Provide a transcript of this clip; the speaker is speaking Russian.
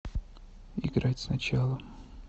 играть сначала